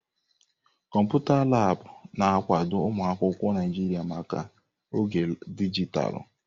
Kọmputa Laabụ̀ na-akwado ụmụ akwụkwọ Naijiria maka oge dijitalụ.